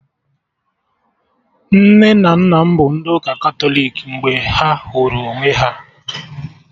Nne na nna m bụ ndị ụka Katọlik mgbe ha hụrụ onwe ha